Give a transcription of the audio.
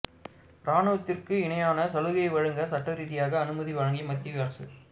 ராணுவத்திற்கு இணையான சலுகை வழங்க சட்ட ரீதியாக அனுமதி வழங்கி மத்திய அரசு